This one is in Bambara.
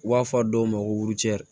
U b'a fɔ dɔw ma ko